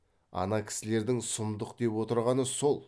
ана кісілердің сұмдық деп отырғаны сол